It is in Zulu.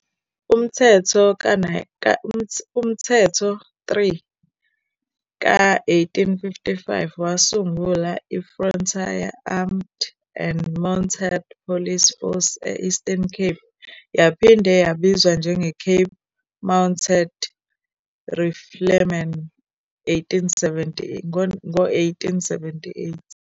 UMthetho 3 ka-1855 wasungula iFrontier Armed and Mounted Police Force e- Eastern Cape, yaphinde yabizwa njengeCape Mounted Riflemen ngo-1878.